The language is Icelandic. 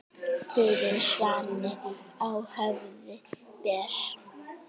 Tigin svanni á höfði ber.